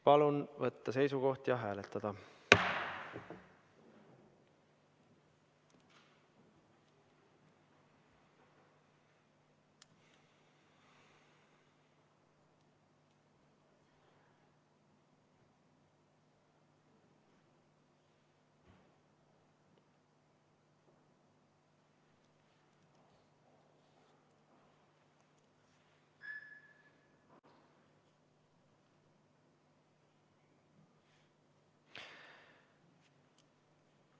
Palun võtta seisukoht ja hääletada!